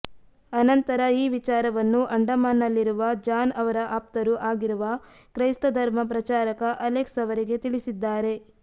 ಅನಂತರ ಈ ವಿಚಾರವನ್ನು ಅಂಡಮಾನ್ನಲ್ಲಿರುವ ಜಾನ್ ಅವರ ಆಪ್ತರೂ ಆಗಿರುವ ಕ್ರೈಸ್ತ ಧರ್ಮ ಪ್ರಚಾರಕ ಅಲೆಕ್ಸ್ ಅವರಿಗೆ ತಿಳಿಸಿದ್ದಾರೆ